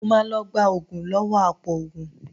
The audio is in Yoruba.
Mo máa lọ gba oògùn lọ́wọ́ apòògùn